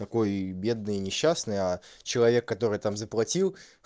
такой бедный несчастный а человек который там заплатил